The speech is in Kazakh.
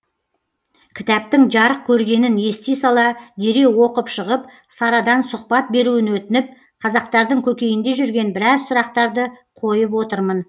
кітаптың жарық көргенін ести сала дереу оқып шығып сарадан сұхбат беруін өтініп қазақтардың көкейінде жүрген біраз сұрақтарды қойып отырмын